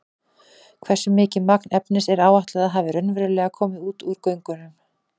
Hversu mikið magn efnis er áætlað að hafi raunverulega komið út úr göngunum?